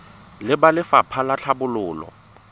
le ba lefapha la tlhabololo